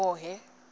hhohhe